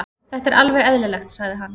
Þetta er alveg eðlilegt, sagði hann.